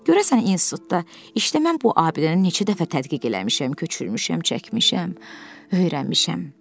Görəsən institutda işləməm bu abidəni neçə dəfə tədqiq eləmişəm, köçürmüşəm, çəkmişəm, öyrənmişəm.